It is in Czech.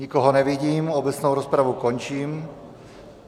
Nikoho nevidím, obecnou rozpravu končím.